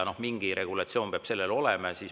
Mingi regulatsioon peab siin olema.